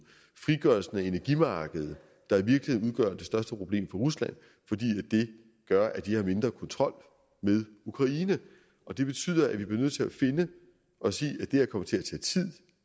frigørelsen af energimarkedet der i virkeligheden udgør det største problem rusland fordi det gør at de har mindre kontrol med ukraine og det betyder at vi bliver nødt til at sige at det her kommer til at tage tid